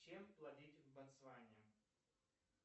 чем платить в ботсване